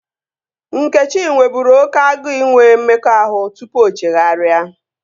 Nkechi nweburu oké agụụ inwe mmekọahụ tupu o chegharịa